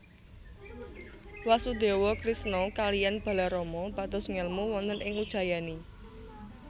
Wasudewa Krisna kaliyan Balarama pados ngelmu wonten ing Ujjayani